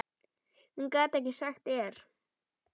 Hún gat ekki sagt err.